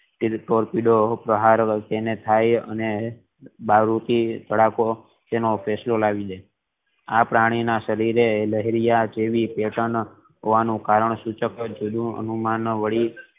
પહાડ હોય તેને થઈ અને દારૂ થી ધડાકો તેનો ફેંસલોઃ લાવી દેય આ પ્રાણી ના શરીરે લહેરિયા જેવી પેહચાનો હોવાનું નું કારણ અને તેનું અનુમાન વળી